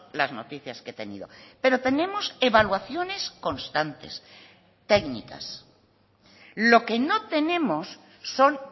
las noticias que he tenido pero tenemos evaluaciones constantes técnicas lo que no tenemos son